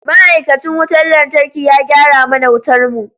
Ma'aikacin wutar lantarki ya gyara mana wutar mu.